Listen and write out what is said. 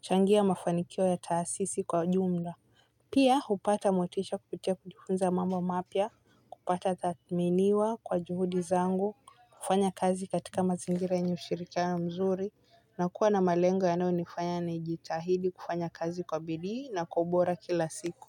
kuchangia mafanikio ya taasisi kwa jumla. Pia hupata motisha kupitia kujifunza mambo mapya kutadhminiwa kwa juhudi zangu kufanya kazi katika mazingira yenye ushirikiano mzuri na kuwa na malengo yanayo nifanya naijitahidi kufanya kazi kwa bidii na kwa ubora kila siku.